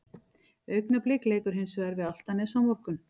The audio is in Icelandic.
Augnablik leikur hins vegar við Álftanes á morgun.